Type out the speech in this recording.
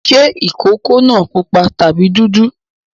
Ṣé ìkókó náà pupa tàbí dúdú?